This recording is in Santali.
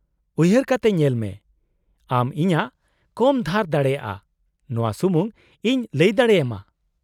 -ᱩᱭᱦᱟᱹᱨ ᱠᱟᱛᱮ ᱧᱮᱞᱢᱮ ! ᱟᱢ ᱤᱧᱟᱹᱜ ᱠᱚᱢ ᱫᱷᱟᱨ ᱫᱟᱲᱮᱭᱟᱜᱼᱟ ᱱᱚᱶᱟ ᱥᱩᱢᱩᱝ ᱤᱧ ᱞᱟᱹᱭ ᱫᱟᱲᱮᱭᱟᱢᱟ ᱾